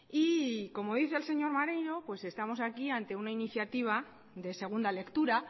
y como dice el señor maneiro pues estamos aquí ante una iniciativa de segunda lectura